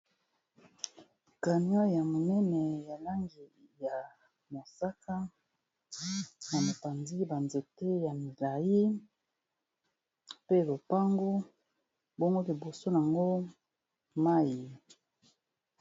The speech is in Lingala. canion ya monene ya lange ya mosaka ya mopanzi banzete ya milai pe lopango bomgo liboso yango mai